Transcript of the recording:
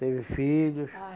Teve filhos. Ah